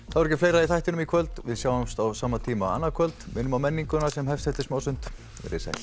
þá er ekki fleira í þættinum í kvöld við sjáumst á sama tíma annað kvöld minnum á menninguna sem hefst eftir smástund veriði sæl